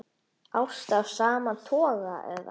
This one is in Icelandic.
Ást af sama toga eða